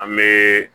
An bɛ